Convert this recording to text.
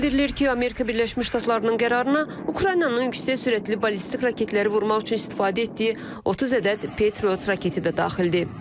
Bildirilir ki, Amerika Birləşmiş Ştatlarının qərarına Ukraynanın yüksək sürətli ballistik raketləri vurmaq üçün istifadə etdiyi 30 ədəd Patriot raketi də daxildir.